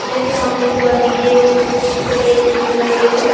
मेरे सामने जो गंदगी है वो बिलकुल भी अच्छी नहीं लग रही है।